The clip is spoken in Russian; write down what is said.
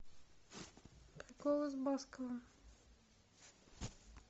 голос баскова